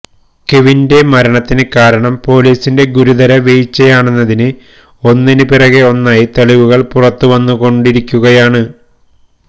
കെവിന്റെ മരണത്തിന് കാരണം പോലീസിന്റെ ഗുരുതര വീഴ്ചയാണെന്നതിന് ഒന്നിനു പിറകെ ഒന്നായി തെളിവുകൾ പുറത്തുവന്നുകൊണ്ടിരിക്കുകയാണ്